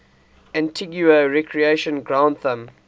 antigua recreation ground thumb